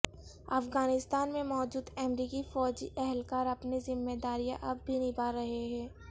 افغانستان میں موجود امریکی فوجی اہلکار اپنی ذمہ داریاں اب بھی نبھا رہے ہیں